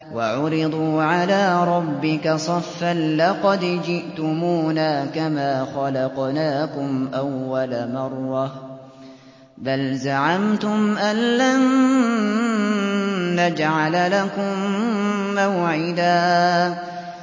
وَعُرِضُوا عَلَىٰ رَبِّكَ صَفًّا لَّقَدْ جِئْتُمُونَا كَمَا خَلَقْنَاكُمْ أَوَّلَ مَرَّةٍ ۚ بَلْ زَعَمْتُمْ أَلَّن نَّجْعَلَ لَكُم مَّوْعِدًا